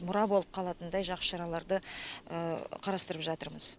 мұра болып қалатындай жақсы шараларды қарастырып жатырмыз